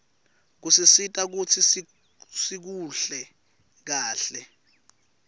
kusisita kutsi sikuhle kahle